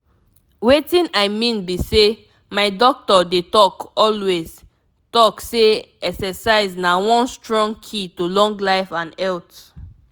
wetin i mean be sey my doctor dey talk always talk say exercise na one strong key to long life and health.